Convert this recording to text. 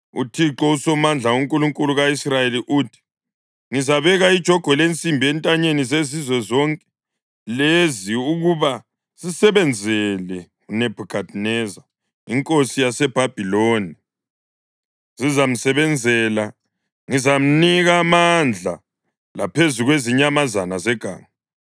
UThixo uSomandla, uNkulunkulu ka-Israyeli uthi: Ngizabeka ijogwe lensimbi entanyeni zezizwe zonke lezi ukuba zisebenzele uNebhukhadineza inkosi yaseBhabhiloni, zizamsebenzela. Ngizamnika amandla laphezu kwezinyamazana zeganga.’ ”